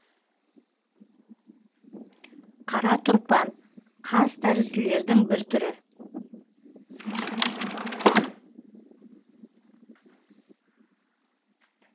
қара тұрпан қазтәрізділердің бір түрі